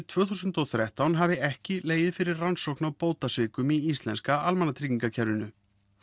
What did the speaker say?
tvö þúsund og þrettán hafi ekki legið fyrir rannsókn á bótasvikum í íslenska almannatryggingakerfinu